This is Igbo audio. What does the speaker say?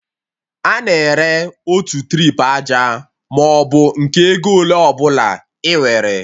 A na-ere otu trip aja maọbụ nke ego ole ọbụla ị nwere